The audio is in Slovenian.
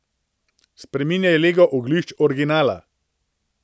Spreminjaj lego oglišč originala.